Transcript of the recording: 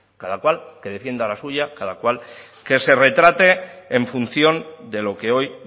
cada cual que defienda la suya cada cual que se retrate en función de lo que hoy